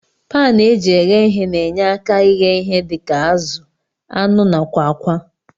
Pan eji eghe ihe na enye aka ighe ihe dika azu, anụ nakwa akwa.